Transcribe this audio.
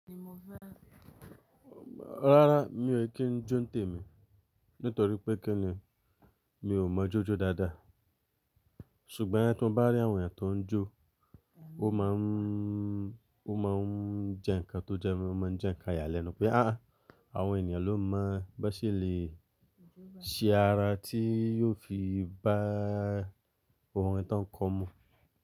Rárá mi ò kí ń jó ntèmi nítorí pé kí ni? Mi ò mọ̀ jó jó dáadáa. Ṣùgbọ́n tí mo bá rí àwọn ènìyàn tó ń jó, ó máa ń, ó máa ń jẹ́ ǹkan tó jẹ́ mó máa ń jẹ́ ǹkan iyálẹnù pé aà, àwọn ènìyàn ló mọ̀ bó ṣe lè ṣe ara tí yóò fi bá orin tán kọ mu.